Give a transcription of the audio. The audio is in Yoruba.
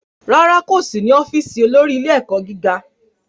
Rárá, kò sí ní ọ́fíìsì olórí ilé-ẹ̀kọ́ gíga.